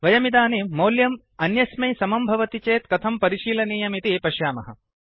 वयमिदानीं मौल्यम् अन्यस्मै समं भवति चेत् कथं परिशीलनीयमिति पश्यामः